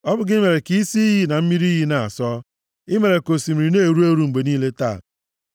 Ọ bụ gị mere ka isi iyi na mmiri iyi na-asọ. I mere ka osimiri na-eru eru mgbe niile taa.